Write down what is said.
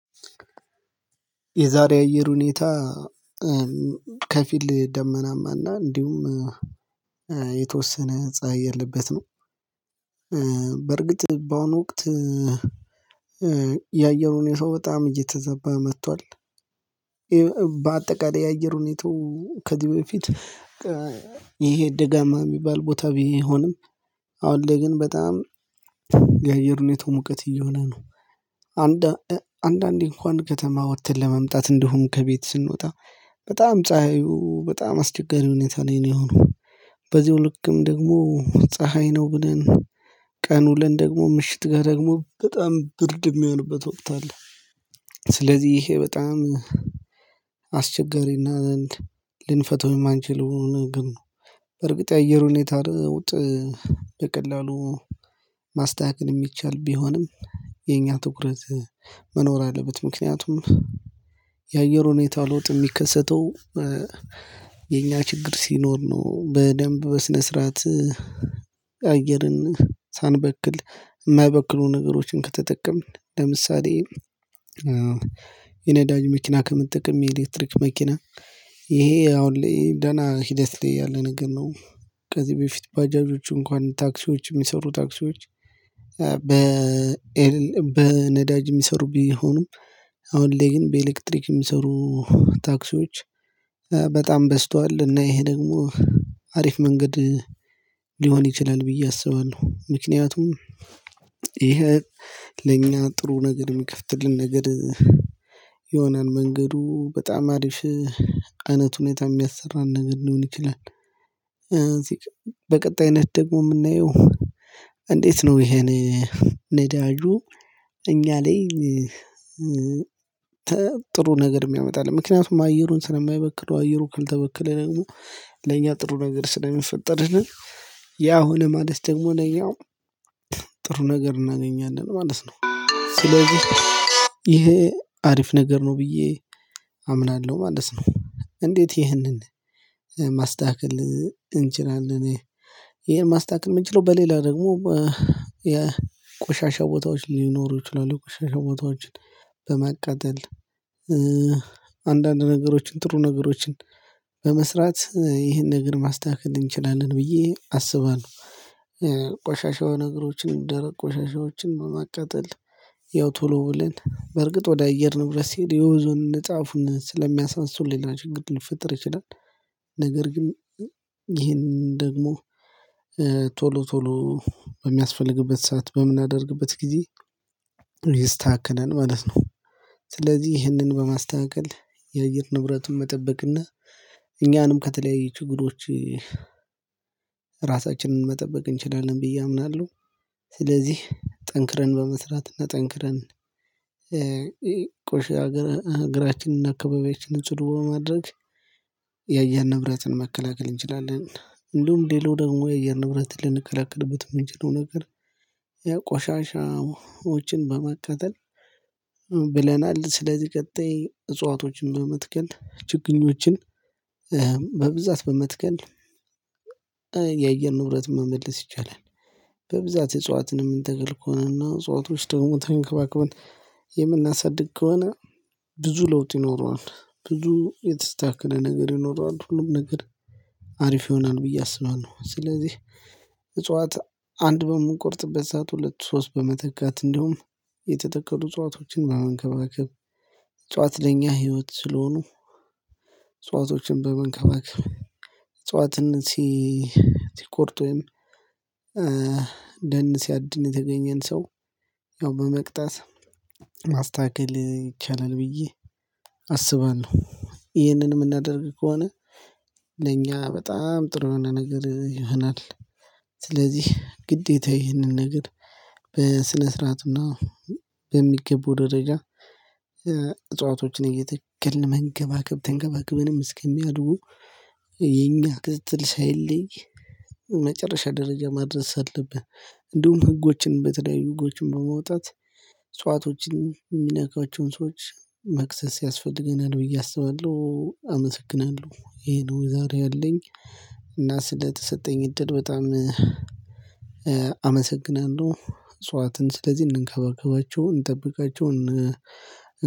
የዛሬ አየር ሁኔታ ከፊል ደመናማና እንዲሁም የተወሰነ ፀሀይ ያለበት ነው። በርግጥ በአሁኑ ወቅት የአየሩን ሰው በጣም እየተዘባ መጥቷል። በአጠቃላይ የአየሩን ሁኔታው ከዚህ በፊት ይሄ ደጋማ የሚባል ቦታ ቢሆንም አሁን ላይ ግን በጣም የአየር ሁኔታው ሙቀት እየሆነ ነው። አንዳንዴ እንኳን ከተማ ወጥተን ለመምጣት እንዲሁም ከቤት ስንወጣ በጣም ፀሀዩ በጣም አስቸጋሪ ሁኔታ ላይ ነው የሆነው። በዚሁ ልክም ደግሞ ፀሀይ ነው ብለን ቀንውለን ደግሞ ምሽት ጋር ደግሞ በጣም ብርድ የሚሆንበት ወቅት አለ። ስለዚህ ይሄ በጣም አስቸጋሪና ልንፈታው የማንችለው ነገር ነው። በርግጥ የአየር ሁኔታ ለውጥ በቀላሉ ማስተካከል የሚቻል ቢሆንም የኛ ትኩረት መኖር አለበት። ምክንያቱም የአየር ሁኔታ ለውጥ የሚከሰተው የኛ ችግር ሲኖር ነው። በደንብ በስነ ስርዓት አየርን ሳንበክል የማይበክሉ ነገሮችን ከተጠቀምን ለምሳሌ የነዳጅ መኪና ከምትጠቀም የኤሌክትሪክ መኪና ይሄ አሁን ደህና ሂደት ላይ ያለ ነገር ነው። ከዚህ በፊት ባጃጆቹ እንኳን ታክሲዎቹ የሚሰሩ ታክሲዎች በ በነዳጅ የሚሰሩ ቢሆኑም አሁን ላይ ግን በኤሌክትሪክ የሚሰሩ ታክሲዎች በጣም በዝቷል እና ይሄ ደግሞ አሪፍ መንገድ ሊሆን ይችላል ብዬ አስባለሁ ምክንያቱም። ይሄ ለኛ ጥሩ ነገር የሚከፍትልን ነገድ የሆነን መንገዱ በጣም አሪፍ አይነት ሁኔታ የሚያሰራን ነገር ሊሆን ይችላል። በቀጣይነት ደግሞ የምናየው እንዴት ነው ይሄን? ነዳጁ እኛ ላይ ጥሩ ነገር የሚያመጣልን ምክንያቱም አየሩን ስለማይበክለው አየሩ ካልተበከለ ደግሞ ለኛ ጥሩ ነገር ስለሚፈጠርልን ያ ሆነ ማለት ደግሞ ለእኛ ጥሩ ነገር እናገኛለን ማለት ነው። ስለዚህ ይሄ አሪፍ ነገር ነው ብዬ አምናለሁ ማለት ነው። እንዴት ይህንን ማስተካከል እንችላለን? ይሄን ማስተካከል የምንችለው በሌላ ደግሞ የቆሻሻ ቦታዎች ሊኖሩ ይችላሉ ቆሻሻ ቦታዎችን በማቃጠል አንዳንድ ነገሮችን ጥሩ ነገሮችን በመስራት ይህንን ነገር ማስተካከል እንችላለን ብዬ አስባለሁ። ቆሻሻው ነገሮችን ደረቅ ቆሻሻዎችን በማቃጠል ያው ቶሎ ብለን በርግጥ ወደ አየር ንብረት ሲሄድ የወንዙን ጫፉን ስለሚያሳንስሱልኝ ሌላ ችግር ሊፈጠር ይችላል። ነገር ግን ይሄንን ደግሞ ቶሎ ቶሎ በሚያስፈልግበት ሰዓት በምናደርግበት ጊዜ ይስተካከላል ማለት ነው። ስለዚህ ይህንን በማስተካከል የአየር ንብረቱን መጠበቅና እኛንም ከተለያየ ችግሮች ራሳችንን መጠበቅ እንችላለን ብዬ አምናለሁ። ስለዚህ ጠንክረን በመስራት እና ጠንክረን ቆሼ ሀገር አገራችንን አካባቢያችንን ጽዱ በማድረግ የአየር ንብረትን መከላከል እንችላለን። እንደውም ሌላው ደግሞ የአየር ንብረትን ልንከለከልበት የምንችለው ነገር የቆሻሻዎችን በማቃጠል ብለናል ስለዚህ ቀጣይ እጽዋቶችን በመትከል ችግኞችን በብዛት በመትከል ንብረት መመለስ ይቻላል። በብዛት እጽዋትን የምንተክል ከሆነ እና እጽዋቶች ደግሞ ተንከባክበን የምናሳድግ ከሆነ ብዙ ለውጥ ይኖረዋል ብዙ የተስተካከለ ነገር ይኖራል ሁሉም ነገር አሪፍ ይሆናል ብዬ አስባለሁ። ስለዚህ እጽዋት አንድ በምንቆርጥበት ሰዓት ሁለት ሶስት በመተካት እንዲሁም የተተከሉ ዕጽዋቶችን በመንከባከብ እጽዋት ለኛ ህይወት ስለሆኑ ዕጽዋቶችን በመንከባከብ ዕጽዋትን ሲ ሲቆርጥ ወይም ደን ሲያድን የተገኘን ሰው ያው በመቅጣት ማስተካከል ይቻላል ብዬ አስባለሁ። ይህንን የምናደርግ ከሆነ ለእኛ በጣም ጥሩ የሆነ ነገር ይሆናል። ስለዚህ ግዴታ ይህንን ነገር በስነ ስርዓትና በሚገቡ ደረጃ እጽዋቶችን እየተከልን መንከባከብ ተንከባክበንም እስከሚያድጉ የኛ ክትትል ሳይለይ መጨረሻ ደረጃ ማድረስ አለብን። እንዲሁም ህጎችን በተለያዩ ህጎችን በማውጣት እጽዋቶችን የሚነካቸውን ሰዎች መክሰስ ያስፈልገናል ብዬ አስባለሁ አመሰግናለሁ። ይሄ ነው ዛሬ ያለኝ። እና ስለተሰጠኝ እድል በጣም አመሰግናለሁ እጽዋትን ስለዚህ እንንከባከባቸው እንጠብቃቸው እን